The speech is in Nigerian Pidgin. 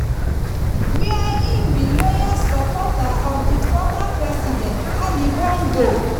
wia im be loyal supporter of di former president ali bongo.